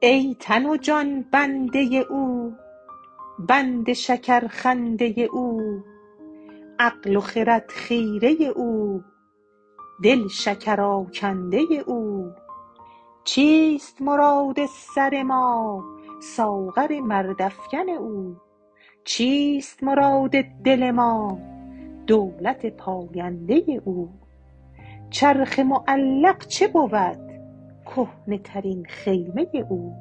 ای تن و جان بنده او بند شکرخنده او عقل و خرد خیره او دل شکرآکنده او چیست مراد سر ما ساغر مردافکن او چیست مراد دل ما دولت پاینده او چرخ معلق چه بود کهنه ترین خیمه او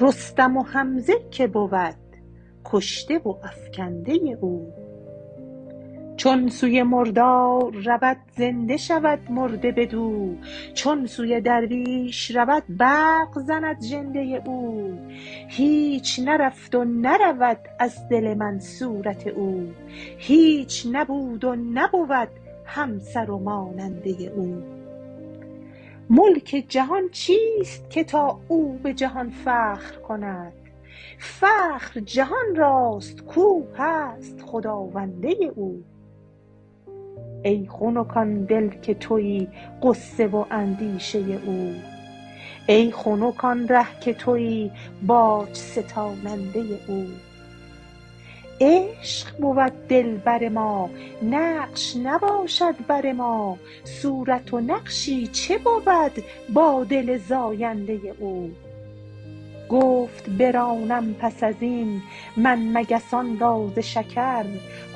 رستم و حمزه کی بود کشته و افکنده او چون سوی مردار رود زنده شود مرد بدو چون سوی درویش رود برق زند ژنده او هیچ نرفت و نرود از دل من صورت او هیچ نبود و نبود همسر و ماننده او ملک جهان چیست که تا او به جهان فخر کند فخر جهان راست که او هست خداونده او ای خنک آن دل که توی غصه و اندیشه او ای خنک آن ره که توی باج ستاننده او عشق بود دلبر ما نقش نباشد بر ما صورت و نقشی چه بود با دل زاینده او گفت برانم پس از این من مگسان را ز شکر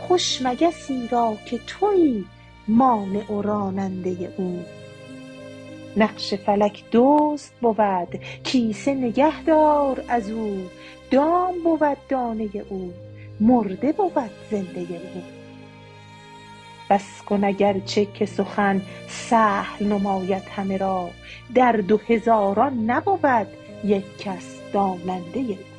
خوش مگسی را که توی مانع و راننده او نقش فلک دزد بود کیسه نگهدار از او دام بود دانه او مرده بود زنده او بس کن اگر چه که سخن سهل نماید همه را در دو هزاران نبود یک کس داننده او